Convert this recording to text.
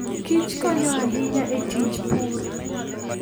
kichkonyo ahinya e tij pur.